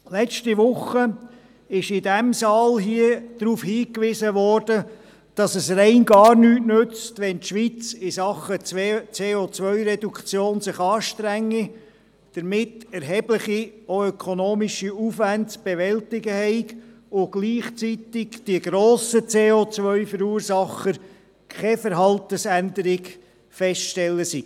Letzte Woche wurde in diesem Saal darauf hingewiesen, dass es rein gar nichts nütze, wenn sich die Schweiz im Rahmen der COReduktion anstrenge und damit erhebliche, auch ökonomische, Aufwände zu bewältigen habe, wenn gleichzeitig bei den grossen CO-Verursachern keine Verhaltensänderung festzustellen sei.